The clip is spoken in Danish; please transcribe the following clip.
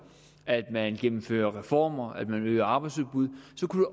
at man gennemfører reformer og at man øger arbejdsudbud